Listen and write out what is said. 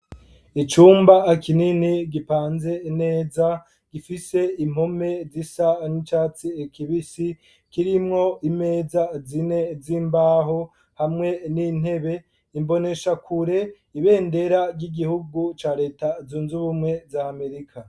Icumba kinini gipanze neza , gifise impome zisa n'icatsi kibisi kirimwo imeza zine z'imbaho hamwe n'intebe , imboneshakure , ibendera ry'igihugu ca reta zunz'ubumwe za Amerika.